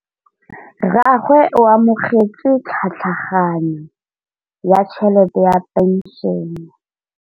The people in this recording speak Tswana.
Rragwe o amogetse tlhatlhaganyô ya tšhelête ya phenšene.